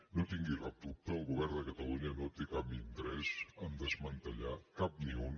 no en tingui cap dubte el govern de catalunya no té cap interès en desmantellar cap ni un